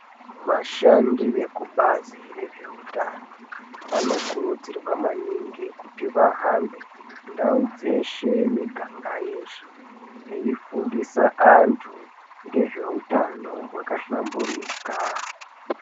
Vashandi vekubazi rezveutano vanokurudzirwa maningi kuti vahambe kundau dzeshe miganga yeshe. Veifundisa antu ngezveutano hwakahlamburika.